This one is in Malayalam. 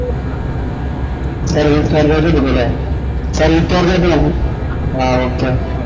അ okay